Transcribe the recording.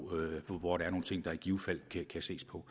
hvor der er nogle ting der i givet fald kan ses på